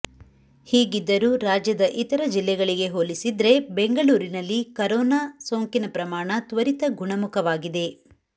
ಹೀಗಿದ್ದರೂ ರಾಜ್ಯದ ಇತರ ಜಿಲ್ಲೆಗಳಿಗೆ ಹೋಲಿಸಿದ್ರೆ ಬೆಂಗಳೂರಿನಲ್ಲಿ ಕರೋನಾ ಸೋಂಕಿನ ಪ್ರಮಾಣ ತ್ವರಿತ ಗುಣಮುಖವಾಗಿದೆ